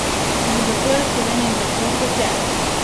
Tudi zato je v Sloveniji tako, kot je!